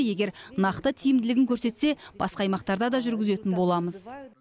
егер нақты тиімділігін көрсетсе басқа аймақтарда да жүргізетін боламыз